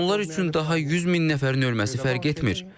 Onlar üçün daha 100 min nəfərin ölməsi fərq etmir.